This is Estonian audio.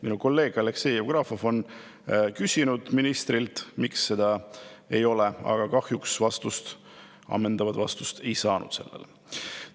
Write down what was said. Minu kolleeg Aleksei Jevgrafov on küsinud ministrilt, miks seda ei ole, aga kahjuks ammendavat vastust ta sellele ei saanud.